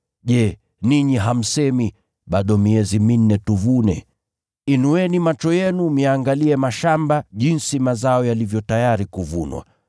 Je, ninyi hamsemi, ‘Bado miezi minne tuvune?’ Inueni macho yenu myaangalie mashamba jinsi mazao yalivyo tayari kuvunwa!